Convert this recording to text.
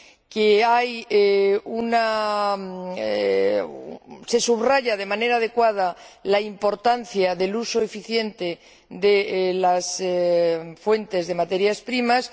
que se subraya de manera adecuada la importancia del uso eficiente de las fuentes de materias primas